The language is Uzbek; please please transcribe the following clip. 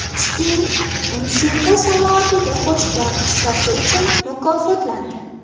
Sting musiqa sanoatiga qo‘shgan hissasi uchun mukofotlandi.